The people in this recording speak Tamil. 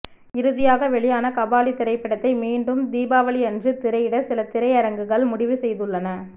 இறுதியாக வெளியான கபாலி திரைப்படத்தை மீண்டும் தீபாவளியன்று திரையிட சில திரையரங்குகள் முடிவு செய்துள்ளன